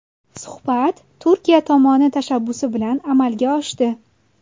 Suhbat Turkiya tomoni tashabbusi bilan amalga oshdi.